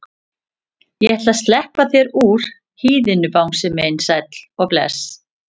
Ég ætla að sleppa þér úr hýðinu bangsi minn sæll og bless.